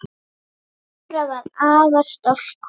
Dóra var afar stolt kona.